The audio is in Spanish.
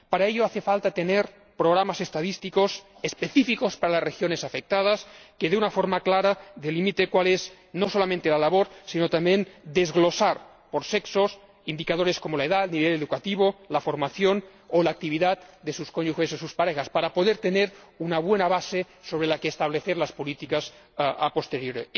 Para ello hace falta disponer de programas estadísticos específicos para las regiones afectadas que de una forma clara no solo delimiten cuál es su labor, sino también que desglosen por sexo indicadores como la edad, nivel educativo, formación o actividad de sus cónyuges o parejas para poder tener una buena base sobre la que establecer las políticas a posteriori